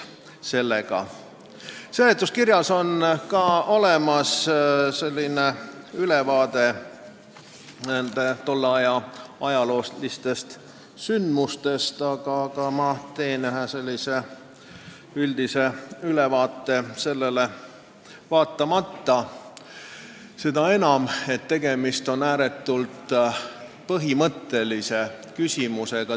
Seletuskirjas on ka ülevaade tolle aja ajaloolistest sündmustest, aga ma teen sellele vaatamata üldise kokkuvõtte toimunust, sest tegemist on ääretult põhimõttelise küsimusega.